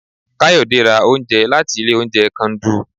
kayode ra oúnjẹ latí ilé oúnjẹ kandu